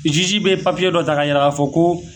Jiji bɛ papiye dɔ ta ka jira k'a fɔ ko